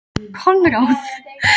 Konráð, er opið í Kjörbúðinni?